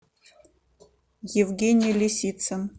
евгений лисицын